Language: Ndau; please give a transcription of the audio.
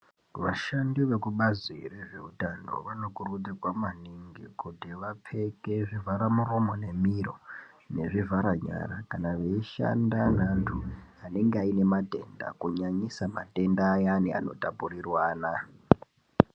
Vashandi vekubazi rezveutano vanokurudzirwa maningi kuti vapfeke zvivhara muromo nemiro nezvivhara nyara kana veishanda neantu anenge aine matenda kunyanyisa matenda ayani anotapurirwana.